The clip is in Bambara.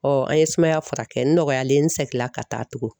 an ye sumaya furakɛ n nɔgɔyalen seginla ka taa tugun